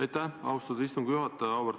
Aitäh, austatud istungi juhataja!